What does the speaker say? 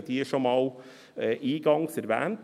Eingangs habe ich diese schon einmal erwähnt.